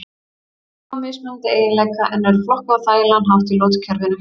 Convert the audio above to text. Þau hafa mismunandi eiginleika en eru flokkuð á þægilegan hátt í lotukerfinu.